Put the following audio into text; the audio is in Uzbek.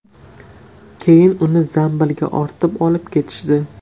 Keyin uni zambilga ortib olib ketishdi.